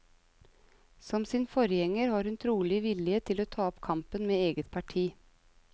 Som sin forgjenger har hun trolig vilje til å ta opp kampen med eget parti.